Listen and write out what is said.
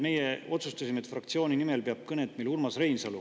Meie otsustasime, et meie fraktsiooni nimel peab kõne Urmas Reinsalu.